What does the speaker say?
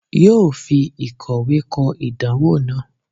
yoo fi ìkọwẹ́ kọ́ idanwo naa.